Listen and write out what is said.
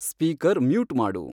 speaker mute ಮಾಡು